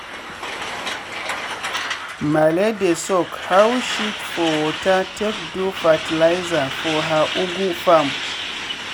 malee dey soak cow shit for water take do fertiliser for her ugwu farm.